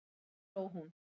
Þá hló hún.